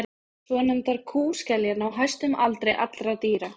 svonefndar kúskeljar ná hæstum aldri allra dýra